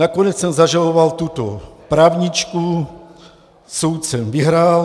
Nakonec jsem zažaloval tuto právničku, soud jsem vyhrál.